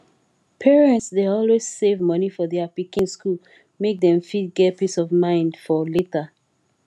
parents dey always save moni for their pikin school make dem fit get peace of mind for later